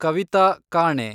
ಕವಿತಾ ಕಾಣೆ